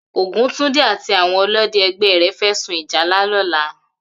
Oguntunde àtí áwòn òlõdè ègbè rè fè sún ìjálá lòlà